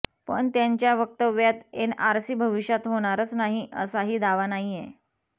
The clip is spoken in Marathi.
पण त्यांच्या वक्तव्यात एनआरसी भविष्यात होणारच नाही असाही दावा नाहीय